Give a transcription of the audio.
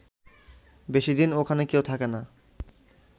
বেশি দিন ওখানে কেউ থাকে না